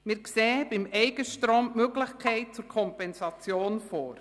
Beim Eigenstrom sehen wir die Möglichkeit zur Kompensation vor.